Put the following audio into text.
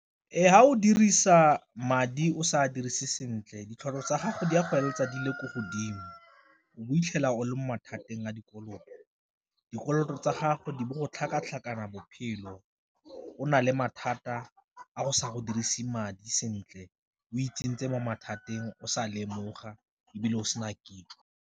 Ee, fa o dirisa madi o sa a dirise sentle tsa gago di a go feleletsa di le ko godimo, o itlhela o le mo mathateng a dikoloto. Dikoloto tsa gagwe di bo go tlhakatlhakana bophelo o na le mathata a go sa go dirise madi sentle o itseng tse mo mathateng o sa lemoga ebile go sena kitso.